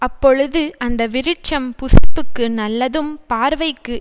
அப்பொழுது அந்த விருட்சம் புசிப்புக்கு நல்லதும் பார்வைக்கு